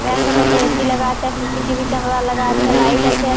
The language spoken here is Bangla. ব্যাঙ্কো টাতে এ.সি. লাগা আছে। সি.সি.টি.ভি. ক্যামেরা লাগা আছে। লাইট আছে --